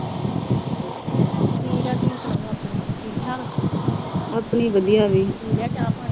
ਠੀਕ ਆ, ਤੁਸੀਂ ਸੁਣਾਓ ਆਪਣੀ। ਠੀਕ-ਠਾਕ। ਪੀ ਲਿਆ ਚਾਹ-ਪਾਣੀ।